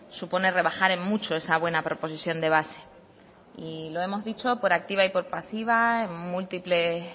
supone en rebajar en mucho esa buena proposición de base y lo hemos dicho por activa y por pasiva en múltiples